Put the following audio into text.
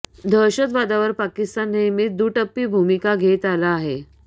दहशतवादावर पाकिस्तान नेहमीच दुटप्पी भुमिका घेत आला आहे